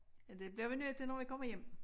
Ja det bliver vi nødt til når vi kommer hjem